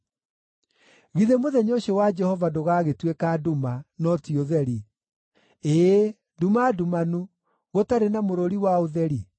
Githĩ mũthenya ũcio wa Jehova ndũgaagĩtuĩka nduma, no ti ũtheri; ĩĩ, nduma ndumanu, gũtarĩ na mũrũri wa ũtheri?